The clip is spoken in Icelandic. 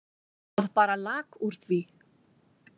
Það bara lak úr því.